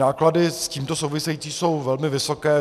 Náklady s tímto související jsou velmi vysoké.